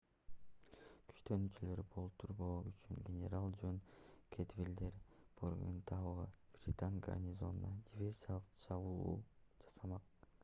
күчтөнүүлөрдү болтурбоо үчүн генерал жон кэдвальдер бордентаундагы британ гарнизонуна диверсиялык чабуул жасамак